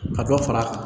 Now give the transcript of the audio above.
Ka dɔ fara